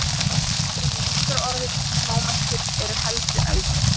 Heimildir um lýsingarorðið smámæltur eru heldur eldri.